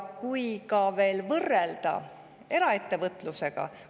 Võrreldes eraettevõtlusega …